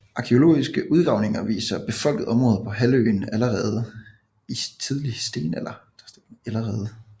Arkæologiske udgravninger viser befolkede områder på halvøen ellerede i tidlig stenalder